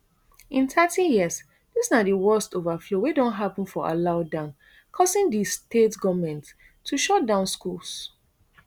in thirty years dis na di worst overflow wey don happun for alau dam causing di state goment to shut down schools